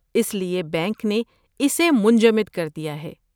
اس لیے بینک نے اسے منجمد کر دیا ہے۔